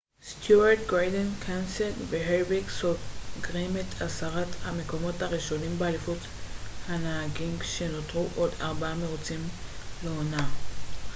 סטיוארט גורדון קנסת' והרביק סוגרים את עשרת המקומות הראשונים באליפות הנהגים כשנותרו עוד ארבעה מרוצים לעונה